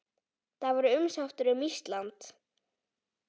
Það var umsátur um Ísland.